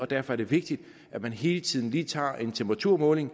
derfor er det vigtigt at man hele tiden lige tager en temperaturmåling